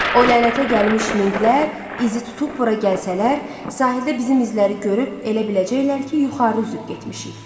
O lənətə gəlmiş minqlər izi tutub bura gəlsələr, sahildə bizim izləri görüb elə biləcəklər ki, yuxarı üzüb getmişik.